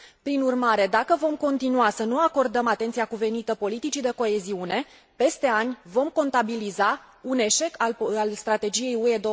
Prin urmare, dacă vom continua să nu acordăm atenția cuvenită politicii de coeziune, peste ani vom contabiliza un eșec al Strategiei UE